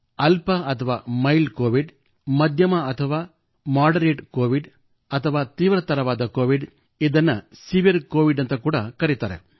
ಅಲ್ಪ ಅಥವಾ mild Covid ಮಧ್ಯಮ ಅಥವಾ ಮಾಡರೇಟ್ ಕೋವಿಡ್ ಅಥವಾ ತೀವ್ರತರವಾದ ಕೋವಿಡ್ ಇದನ್ನು ಸಿವಿಯರ್ ಕೋವಿಡ್ ಎನ್ನುತ್ತಾರೆ